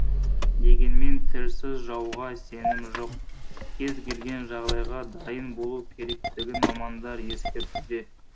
дегенмен тілсіз жауға сенім жоқ кез келген жағдайға дайын болу керектігін мамандар ескертуде